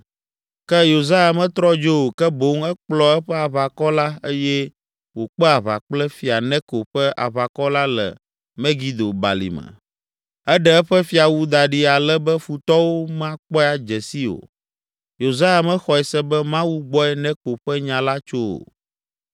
Ke Yosia metrɔ dzo o, ke boŋ ekplɔ eƒe aʋakɔ la eye wòkpe aʋa kple Fia Neko ƒe aʋakɔ la le Megido balime. Eɖe eƒe fiawu da ɖi ale be futɔwo makpɔe adze sii o. Yosia mexɔe se be Mawu gbɔe Neko ƒe nya la tso o.